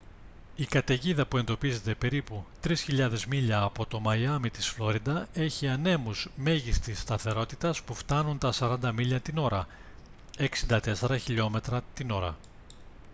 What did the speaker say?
η καταιγίδα που εντοπίζεται περίπου 3.000 μίλια από το μαϊάμι της φλόριντα έχει ανέμους μέγιστης σταθερότητας που φτάνουν τα 40 μίλια την ώρα 64 χλμ την ώρα